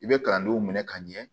I bɛ kalandenw minɛ ka ɲɛ